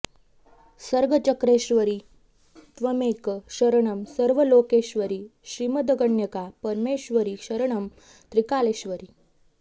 सर्गचक्रेश्वरि त्वमेव शरणं सर्वलोकेश्वरि श्रीमद्कन्यका परमेश्वरि शरणं त्रिकालेश्वरि